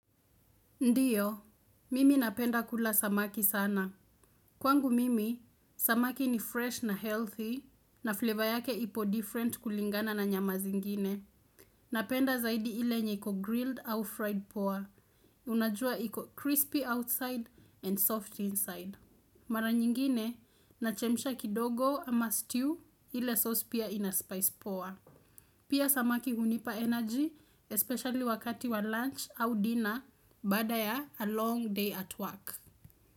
Ndiyo, mimi napenda kula samaki sana. Kwangu mimi, samaki ni fresh na healthy, na flavor yake ipo different kulingana na nyama zingine. Napenda zaidi ile yenye iko grilled au fried poa. Unajua iko crispy outside and soft inside. Mara nyingine, nachemisha kidogo ama stew ile sauce pia inaspice poa. Pia samaki hunipa energy, especially wakati wa lunch au dinner bada ya a long day at work.